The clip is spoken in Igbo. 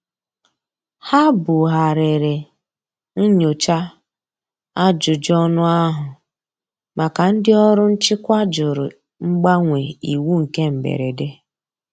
Ha bu ghariri nnyocha ajụjụ ọnụ ahu maka ndi ọrụ nchịkwa jụrụ mgbanwe iwu nke mgberede.